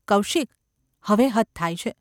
‘કૌશિક ! હવે હદ થાય છે.